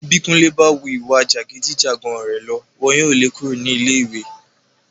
Bí Kúnlé bá wu ìwà jàgídí-jàgan rẹ̀ lọ, wọn yóò le kúrò ní ilé ìwé.